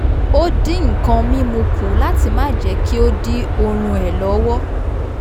o dín nkàn mímu kù láti má jẹ́ kí ó dí oorún ẹ̀ lọ́wọ́